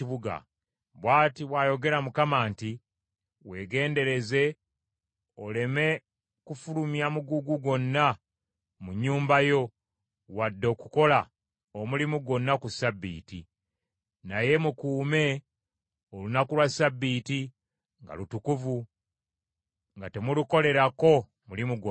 Bw’ati bw’ayogera Mukama nti, Weegendereze oleme kufulumya mugugu gwonna mu nnyumba yo wadde okukola omulimu gwonna ku ssabbiiti, naye mukuume olunaku lwa Ssabbiiti nga lutukuvu nga temulukolerako mulimu gwonna,